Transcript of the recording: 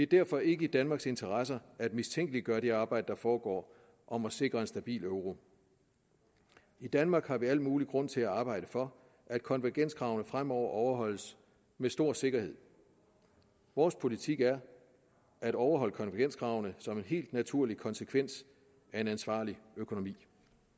derfor ikke i danmarks interesser at mistænkeliggøre det arbejde der foregår om at sikre en stabil euro i danmark har vi al mulig grund til at arbejde for at konvergenskravene fremover overholdes med stor sikkerhed vores politik er at overholde konvergenskravene som en helt naturlig konsekvens af en ansvarlig økonomi